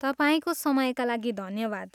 तपाईँको समयका लागि धन्यवाद।